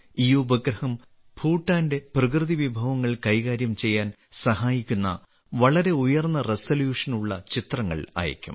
ഈ ഉപഗ്രഹം ഭൂട്ടാന്റെ പ്രകൃതിവിഭവങ്ങൾ കൈകാര്യം ചെയ്യാൻ സഹായിക്കുന്ന വളരെ ഉയർന്ന റെസല്യൂഷൻ ഉള്ള ചിത്രങ്ങൾ അയയ്ക്കും